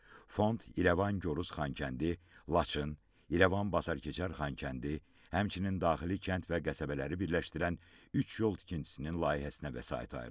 Fond İrəvan, Gorus, Xankəndi, Laçın, İrəvan, Basarkeçər, Xankəndi, həmçinin daxili kənd və qəsəbələri birləşdirən üç yol tikintisinin layihəsinə vəsait ayırıb.